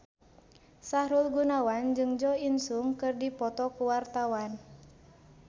Sahrul Gunawan jeung Jo In Sung keur dipoto ku wartawan